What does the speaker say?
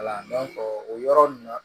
Wala dɔn o yɔrɔ nunnu na